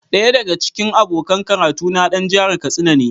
Daya daga cikin abokan karatuna dan jihar Katsina ne.